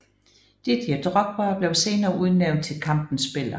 Didier Drogba blev senere udnævnt til kampens spiller